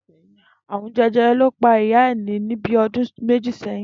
Àrùn je̩je̩re̩ ni ó pa Ìyá Ìní ní bí o̩dún méjì sé̩yìn